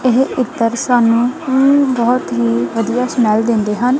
ਇਹ ਇੱਤਰ ਸਾਨੂੰ ਬਹੁਤ ਹੀ ਵਧੀਆ ਸਮੈੱਲ ਦਿੰਦੇ ਹਨ।